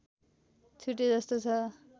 छुटेजस्तो छ